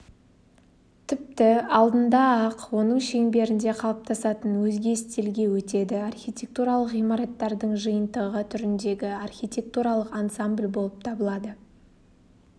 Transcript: тіпті алдында-ақ оның шеңберінде қалыптасатын өзге стильге өтеді архитектуралық ғимараттардың жиынтығы түріндегі архитертуралық ансамбль болып табылады